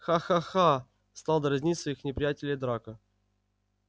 ха-ха-ха стал дразнить своих неприятелей драко